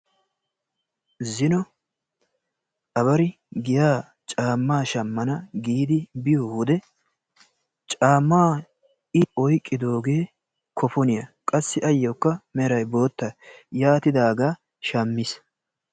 zino abari giya cammaa shamana giidi biyoode caammaa i oyqqidoogee kofoniyaa qassi ayoo meraykka bootta. yaatidagaa shaammis.